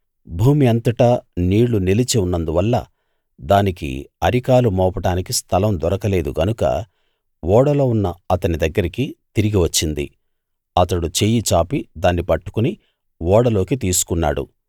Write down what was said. భూమి అంతటా నీళ్ళు నిలిచి ఉన్నందువల్ల దానికి అరికాలు మోపడానికి స్థలం దొరకలేదు గనుక ఓడలో ఉన్న అతని దగ్గరికి తిరిగి వచ్చింది అతడు చెయ్యి చాపి దాన్ని పట్టుకుని ఓడలోకి తీసుకున్నాడు